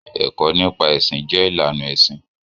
Ẹkọ nipa ẹsin jẹ ilàná ẹsin.